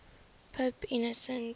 pope innocent